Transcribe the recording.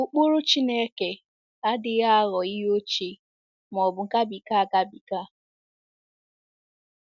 Ụkpụrụ Chineke adịghị aghọ ihe ochie ma ọ bụ gabiga agabiga.